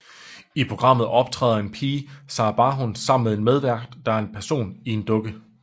I programmet optræder en pige Saraa Barhoum sammen med en medvært der er en person i en dukke